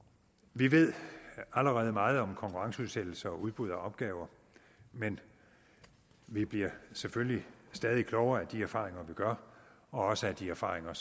vi ved allerede meget om en konkurrenceudsættelse og udbud af opgaver men vi bliver selvfølgelig stadig klogere af de erfaringer vi gør også af de erfaringer